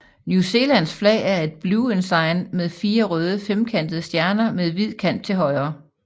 New Zealands flag er et Blue Ensign med fire røde femkantede stjerner med hvid kant til højre